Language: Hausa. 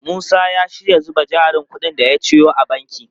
Musa ya shirya zuba jarin kudin da ya ciyo a banki.